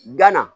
Gana